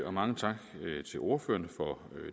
og mange tak til ordførerne for